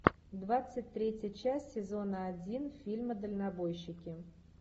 двадцать третья часть сезона один фильма дальнобойщики